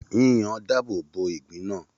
Yíyan dáàbòbo ìgbín náà.